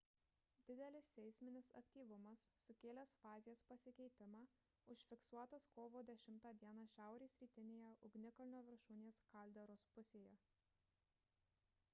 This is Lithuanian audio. didelis seisminis aktyvumas sukėlęs fazės pasikeitimą užfiksuotas kovo 10 d šiaurės rytinėje ugnikalnio viršūnės kalderos pusėje